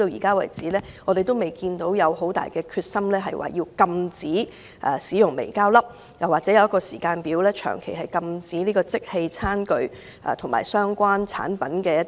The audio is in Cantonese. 我們至今未看到政府有很大決心禁止使用微膠粒，或訂立時間表長期禁止使用即棄餐具及相關產品。